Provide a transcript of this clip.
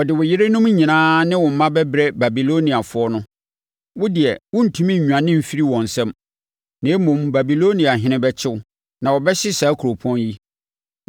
“Wɔde wo yerenom nyinaa ne wo mma bɛbrɛ Babiloniafoɔ no. Wo deɛ worentumi nnwane mfiri wɔn nsam, na mmom Babiloniahene bɛkye wo, na wɔbɛhye saa kuropɔn yi.”